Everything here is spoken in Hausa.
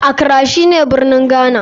Accra shine birnin Ghana.